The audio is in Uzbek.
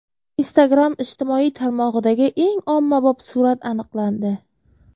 Instagram ijtimoiy tarmog‘idagi eng ommabop surat aniqlandi.